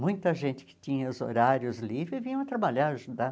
Muita gente que tinha os horários livres vinha trabalhar, ajudar.